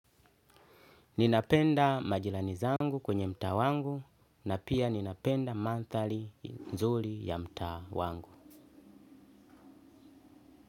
Ninapenda majirani zangu kwenye mtaa wangu na pia ninapenda mandhari nzuri ya mtaa wangu.